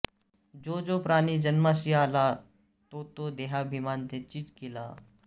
जो जो प्राणी जन्मासी आला तो तो देहाभिमानेंचि गेला